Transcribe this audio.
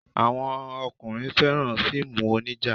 Àwọn ọkùnrin fẹ́ràn fíìmù onija.